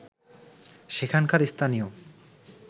সেখানকার স্থানীয়